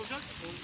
Çəkib gedir.